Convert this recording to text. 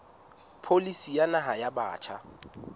pholisi ya naha ya batjha